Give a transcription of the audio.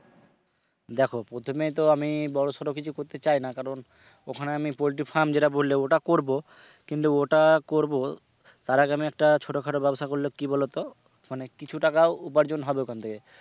দেখো প্রথমে তো আমি বড়সড়ো কিছু করতে চাই না কারণ ওখানে আমি poultry farm যেটা বললে ওটা করব কিন্তু ওটা করব তার আগে আমি একটা ছোটখাটো ব্যবসা করলে কি বলতো মানে কিছু টাকা উপার্জন হবে ওখান থেকে